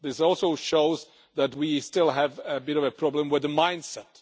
This also shows that we still have a bit of a problem with the mind set.